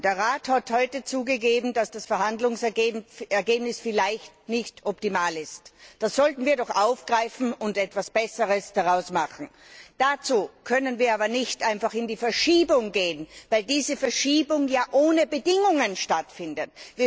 Der Rat hat heute zugegeben, dass das Verhandlungsergebnis vielleicht nicht optimal ist. Das sollten wir doch aufgreifen und etwas Besseres daraus machen. Dazu können wir aber nicht einfach in die Verschiebung gehen, weil diese Verschiebung ja ohne Bedingungen stattfindet.